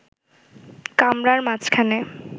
কামরার মাঝখানে